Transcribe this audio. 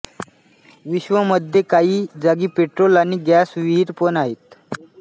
विश्व मध्ये काही जागी पेट्रोल आणि गैस विहीरी पण आहेत